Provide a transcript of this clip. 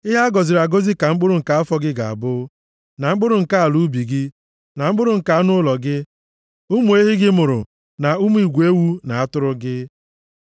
Ihe a gọziri agọzi ka mkpụrụ nke afọ gị ga-abụ na mkpụrụ nke ala ubi gị na mkpụrụ nke anụ ụlọ gị, ụmụ ehi gị mụrụ na ụmụ igwe ewu na atụrụ gị.